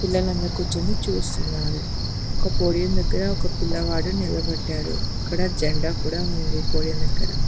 పిల్లలందరూ కూర్చొని చూస్తున్నారు ఆ పోడియం దగ్గర ఒక పిల్లవాడు నిలబడ్డాడు అక్కడ జెండా కూడా ఉంది పోడియం దగ్గర.